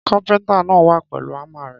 Kàpẹńtà nà wa pẹ́lù àmá rẹ